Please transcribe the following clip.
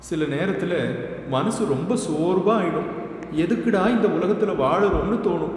சில நேரத்துல மனசு ரொம்ப சோர்வா ஆயிடும், எதுக்குடா இந்த உலகத்துல வாழ்றோம்னு தோணும்.